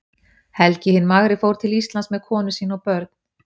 helgi hinn magri fór til íslands með konu sína og börn